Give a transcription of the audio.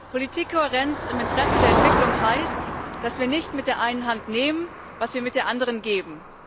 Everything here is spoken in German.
Politikkohärenz im Interesse der Entwicklung heißt, dass wir nicht mit der einen Hand nehmen, was wir mit der anderen geben.